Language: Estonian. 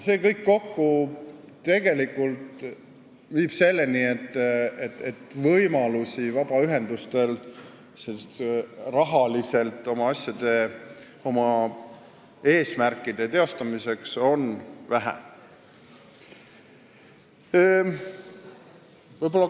See kõik kokku viib selleni, et vabaühendustel on oma eesmärkide teostamiseks vähe rahalisi võimalusi.